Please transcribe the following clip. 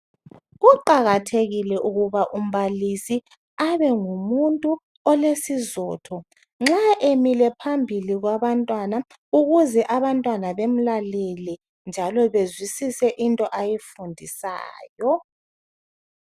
Kuqakathekile ukuba umbalisi abengumuntu olesizotho nxa emile phambili kwabantwana ukuze abantwana bemlalele njalo bezwisise into ayifundisayo.